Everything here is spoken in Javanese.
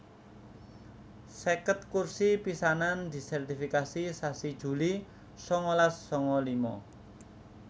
seket kursi pisanan disèrtifikasi sasi Juli sangalas sanga lima